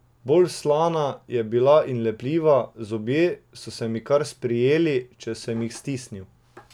Bolj slana je bila in lepljiva, zobje so se mi kar sprijeli, če sem jih stisnil.